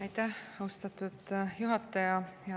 Aitäh, austatud juhataja!